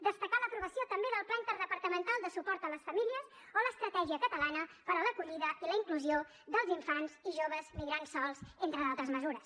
destacar l’aprovació també del pla interdepartamental de suport a les famílies o l’estratègia catalana per a l’acollida i la inclusió dels infants i joves migrants sols entre d’altres mesures